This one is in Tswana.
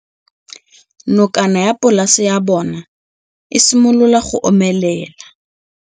Nokana ya polase ya bona, e simolola go omelela.